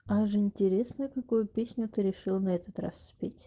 аж интересно какую песню ты решила на этот раз спеть